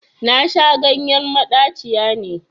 Nasha ganyen maɗaciya ne